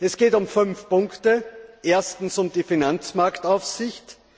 Es geht um fünf Punkte erstens um die Finanzmarktaufsicht.